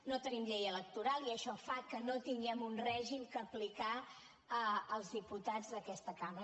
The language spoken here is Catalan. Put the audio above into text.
no tenim llei electoral i això fa que no tinguem un règim a aplicar als diputats d’aquesta cambra